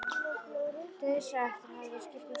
Dauðsá eftir að hafa verið að skipta um skóla.